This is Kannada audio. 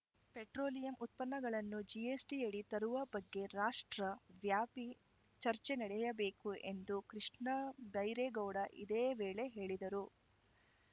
ಪೆಟ್ರೋಲಿಯಂ ಉತ್ಪನ್ನಗಳನ್ನು ಜಿಎಸ್ಟಿಯಡಿ ತರುವ ಬಗ್ಗೆ ರಾಷ್ಟ್ರ ವ್ಯಾಪಿ ಚರ್ಚೆ ನಡೆಯಬೇಕು ಎಂದು ಕೃಷ್ಣಬೈರೇಗೌಡ ಇದೇ ವೇಳೆ ಹೇಳಿದರು